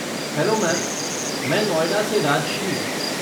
Hello ma'am, मैं नोएडा से राजश्री।